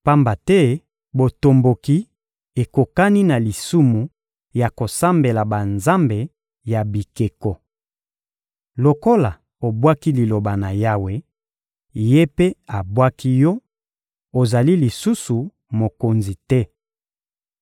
Pamba te botomboki ekokani na lisumu ya kosambela banzambe ya bikeko. Lokola obwaki Liloba na Yawe, Ye mpe abwaki yo; ozali lisusu mokonzi te.